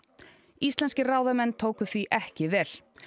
íslenskir ráðamenn tóku því ekki vel